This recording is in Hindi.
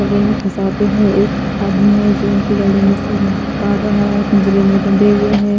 गले मे फसाते है एक आदमी है जो उनके गले मे से निकाल रहा है पिंजरे मे बंधे हुए हैं।